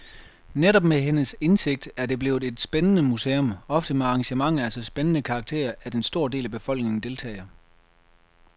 Netop med hendes indsigt er det blevet et levende museum, ofte med arrangementer af så spændende karakter, at en stor del af befolkningen deltager.